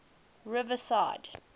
riverside